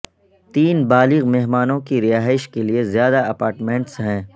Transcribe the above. تین بالغ مہمانوں کی رہائش کے لئے زیادہ اپارٹمنٹس ہیں